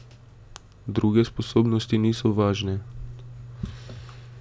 Druge sposobnosti niso važne.